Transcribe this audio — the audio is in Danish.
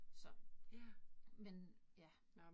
Så. Men, ja